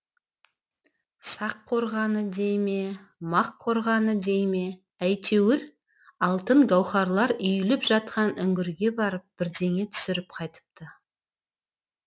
сақ қорғаны дей ме мақ қорғаны дей ме әйтеуір алтын гауһарлар үйіліп жатқан үңгірге барып бірдеңе түсіріп қайтыпты